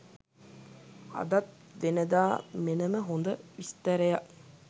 අදත් වෙනදා මෙනම හොඳ විස්තරයක්